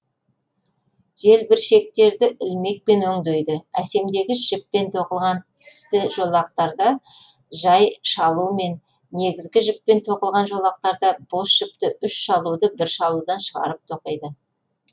желбіршектерді ілмекпен өңдейді әсемдегіш жіппен тоқылған тісті жолақтарда жай шалумен негізгі жіппен тоқылған жолақтарда бос жіпті үш шалуды бір шалудан шығарып тоқиды